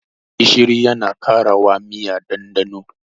Gishiri yana karawa miya ɗanɗano.